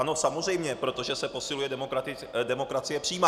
Ano, samozřejmě, protože se posiluje demokracie přímá.